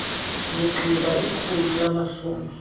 ndigqiba ikhulu namashumi